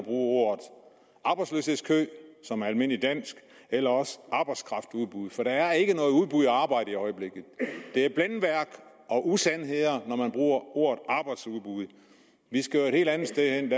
ordet arbejdsløshedskø som er almindelig dansk eller ordet arbejdskraftudbud for der er ikke noget udbud af arbejde i øjeblikket det er blændværk og usandheder når man bruger ordet arbejdsudbud vi skal jo et helt andet sted hen